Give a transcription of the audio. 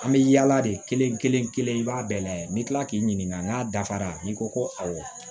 An bɛ yaala de kelen kelen kelen i b'a bɛɛ lajɛ n'i kila k'i ɲininka n'a dafara n'i ko ko awɔ